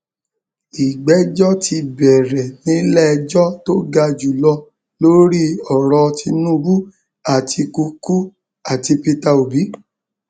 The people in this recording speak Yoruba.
ìgbẹjọ ti bẹrẹ nílẹẹjọ tó ga jù lọ lórí ọrọ tinubu àtikukú àti peter obi